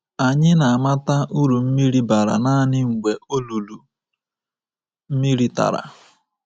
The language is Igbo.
“Anyị na-amata uru mmiri bara nanị mgbe olulu mmiri tara.